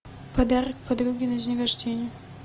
подарок подруге на день рождения